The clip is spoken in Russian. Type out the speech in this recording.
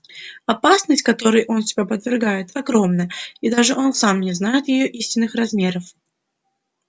опасность которой он себя подвергает огромна и даже он сам не знает её истинных размеров